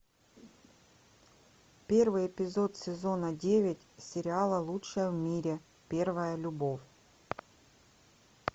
первый эпизод сезона девять сериала лучшая в мире первая любовь